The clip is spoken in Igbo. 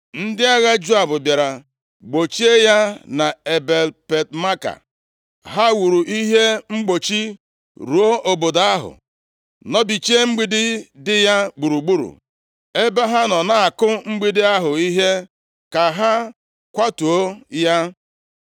Ndị agha Joab bịara gbochie ya na Ebel-Bet-Maaka. Ha wuru ihe mgbochi ruo obodo ahụ, nọbichie mgbidi dị ya gburugburu. Ebe ha nọ na-akụ mgbidi ahụ ihe, ka ha kwatuo ya.